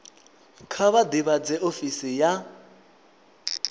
kha vha ḓivhadze ofisi ya